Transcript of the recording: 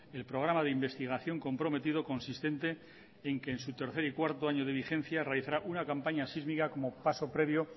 el programa de investigación comprometido consistente en que en su tercer y cuarto año de vigencia realizará una campaña sísmica como paso previo